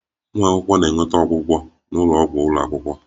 Ụmụ akwụkwọ na-enweta ọgwụgwọ n'ụlọ ọgwụ ụlọ akwụkwọ